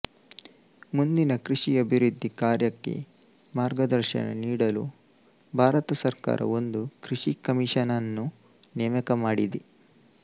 ಮುಂದಿನ ಕೃಷಿ ಅಭಿವೃದ್ಧಿ ಕಾರ್ಯಕ್ಕೆ ಮಾರ್ಗದರ್ಶನ ನೀಡಲು ಭಾರತ ಸರ್ಕಾರ ಒಂದು ಕೃಷಿ ಕಮಿಷನನ್ನು ನೇಮಕ ಮಾಡಿದೆ